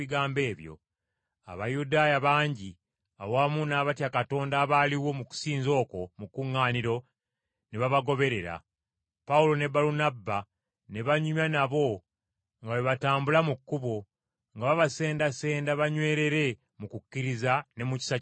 Abayudaaya bangi awamu n’abatya Katonda abaaliwo mu kusinza okwo mu kkuŋŋaaniro, ne babagoberera. Pawulo ne Balunabba ne banyumya nabo nga bwe batambula mu kkubo, nga babasendasenda banywerere mu kukkiriza ne mu kisa kya Katonda.